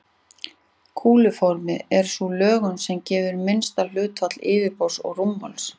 Kúluformið er sú lögun sem gefur minnsta hlutfall yfirborðs og rúmmáls.